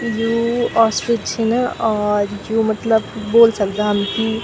यू ओर्स्त्रीच छिन और यु मतलब बोल सकदा हम की --